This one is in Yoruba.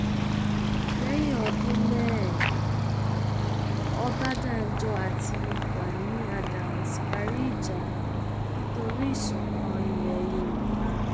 lẹyìn ọdún mẹẹẹ ọbadànjọ àti gani adams parí ìjà nítorí ìṣọkan ilẹ yorùbá